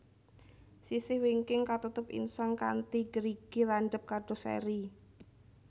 Sisih wingking katutup insang kanthi gerigi landhep kados eri